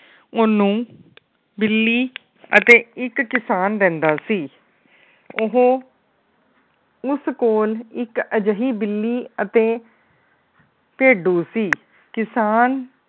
ਓਹਨੂੰ ਬਿੱਲੀ ਅਤੇ ਇੱਕ ਕਿਸਾਨ ਰਹਿੰਦਾ ਸੀ। ਉਹ ਉਸ ਕੋਲ ਇੱਕ ਅਜਿਹੀ ਬਿੱਲੀ ਅਤੇ ਭੇਡੂ ਸੀ। ਕਿਸਾਨ